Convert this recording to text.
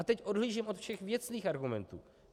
A teď odhlížím od všech věcných argumentů.